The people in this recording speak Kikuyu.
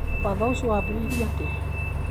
Watho ũcio waambĩrĩirie atĩa?